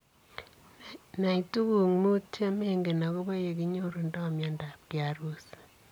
Nai tuguuk muut chemengen agobo yenginyorundo miondab Kiharusi.